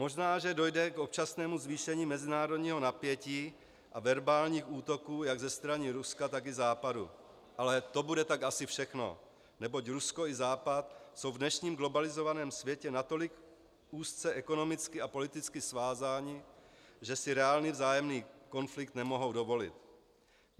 Možná že dojde k občasnému zvýšení mezinárodního napětí a verbálních útoků jak ze strany Ruska, tak i Západu, ale to bude tak asi všechno, neboť Rusko i Západ jsou v dnešním globalizovaném světě natolik úzce ekonomicky a politicky svázány, že si reálný vzájemný konflikt nemohou dovolit.